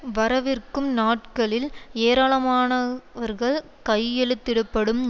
வரவிர்க்கும் நாட்களில் ஏராளமானவர்கள் கையெழுத்திட படும்